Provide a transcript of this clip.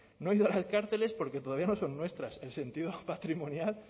no he ido a las cárceles porque todavía no son nuestras el sentido patrimonial